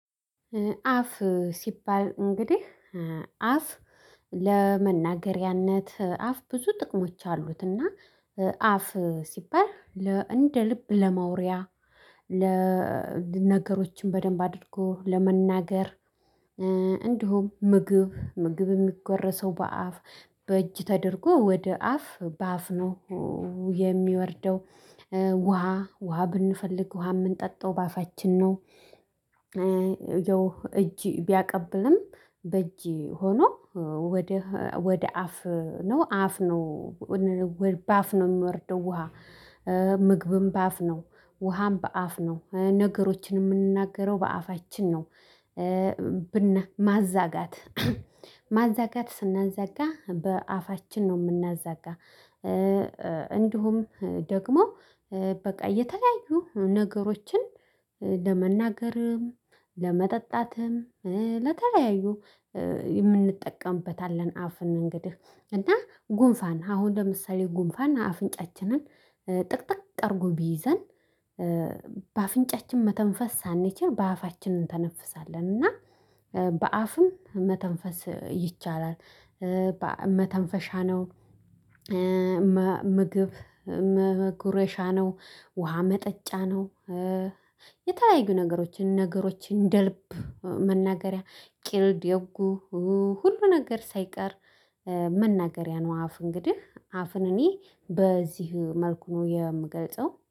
አፍ ሲባል እንግዲህ አፍ ለመናገሪያነት አፍ ብዙ ጥቅሞች አሉትና አፍ ሲባል እንደ ልብ ለማውሪያ ለነገሮችን በደንብ አድርጎ ለመናገር። እንዲሁም ምግብ ምግብ የሚጎረሰው በአፍ በእጅ ተደርጎ ወደ አፍ በአፍ ነው የሚወርደው ውሃ ውሃ ብንፈልግ ውሃ የምንጠጣው በአፋችን ነው። እጅ ቢያቀብልም በእጅ ሆኖ ወደ ወደ አፍ ነው አፍ ነው በአፍ ነው የምወርደው ውሃ። ምግብም በአፍ ነው ውሃም በአፍ ነው ነገሮችን የምንናገረው በአፋችን ነው። ማዛጋት ማዛጋት ስናዘጋ በአፋችን ነው የምናዘጋ። እንዲሁም ደግሞ በቃ እየተለያዩ ነገሮችን ለመናገርም ለመጠጣትም ለተለያዩ የምንጠቀምበትአለን አፍን። እንግዲህ እና ጉንፋን አሁን ለምሳሌ ጉንፋን አፍንጫችንን ጥቅጥቅ አድርጎ ቢይዘን በአፍንጫችን መተንፈስ ሳንችል በአፋችን እንተነፍሳለን እና በአፍም መተንፈስ ይቻላል። መተንፈሻ ነው። ምግብ መጉረሻ ነው ውሃ መጠጫ ነው። የተለያዩ ነገሮችን ነገሮችን እንደልብ መናገሪያ ቂል ደጉ ሁሉ ነገር ሳይቀር መናገሪያ ነው። አፍ እንግዲህ አፍን እኔ በዚህ መልኩ ነው የምገልጸው